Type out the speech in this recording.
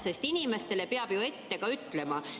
Sest inimestele peab ju ette ka ütlema.